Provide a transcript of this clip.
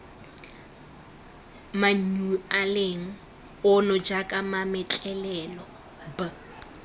manyualeng ono jaaka mametlelelo b